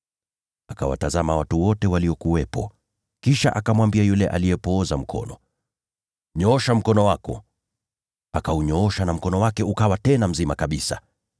Akawatazama watu wote waliokuwepo, kisha akamwambia yule aliyepooza mkono, “Nyoosha mkono wako!” Akaunyoosha na mkono wake ukaponywa kabisa.